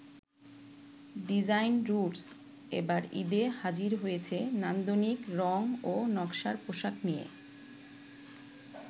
Design roots এবার ঈদে হাজির হয়েছে নান্দনিক রং ও নকশার পোশাক নিয়ে।